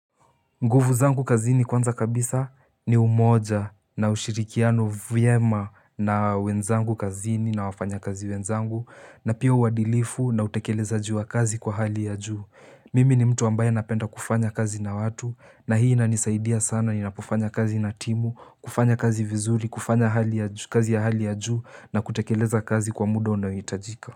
Nguvu zangu kazini kwanza kabisa ni umoja na ushirikiano vyema na wenzangu kazini na wafanya kazi wenzangu na pia uadilifu na utekelezajiwa kazi kwa hali ya juu. Mimi ni mtu ambaye napenda kufanya kazi na watu na hii inanisaidia sana ninapofanya kazi na timu, kufanya kazi vizuri, kufanya hali ya ju kazi ya hali ya juu na kutekeleza kazi kwa muda unaohitajika.